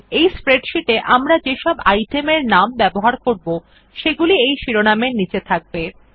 এই স্প্রেডশীট এ আমরা যেসব আইটেম এর নাম ব্যবহার করব সেগুলি এই শিরোনামের নীচে থাকবে